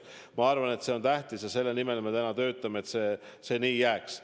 Ma arvan, et see on tähtis ja selle nimel me töötame, et see nii jääks.